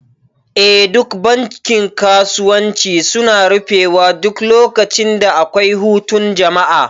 Eh duk bankin kasuwanci suna rufe wa duk lokacin da akwai hutun jama'a